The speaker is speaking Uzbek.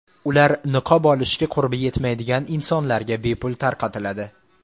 Ular niqob olishga qurbi yetmaydigan insonlarga bepul tarqatiladi.